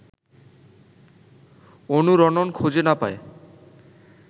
অনুরণন খুঁজে না পায়